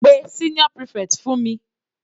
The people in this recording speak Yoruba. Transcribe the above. Pe senior prefect fún mi.